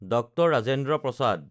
DR. Rajendra PRASAD